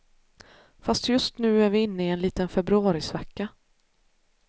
Fast just nu är vi inne i en liten februarisvacka.